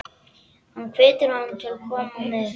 Hann hvetur hana til að koma með.